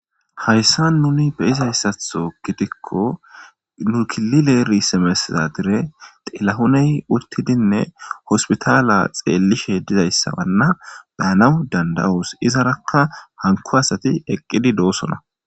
hayssa nuni beizayssatho gitikko nukilileeri semesisa dire telahoney uttidinne hospitaala xeellishe dizayssabanna beyanaw danda7oos izarakka hanko asati eqqidi doosona